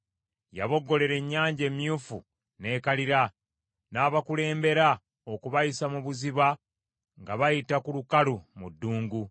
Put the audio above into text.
Yaboggolera Ennyanja Emyufu, n’ekalira; n’abakulembera okubayisa mu buziba ng’abayita ku lukalu mu ddungu.